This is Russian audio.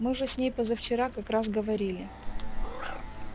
мы же с ней позавчера как раз говорили